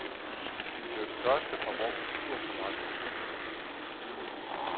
De var de første fra vor kultur som rejste ud.